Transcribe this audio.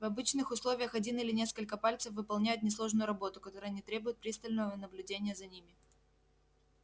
в обычных условиях один или несколько пальцев выполняют несложную работу которая не требует пристального наблюдения за ними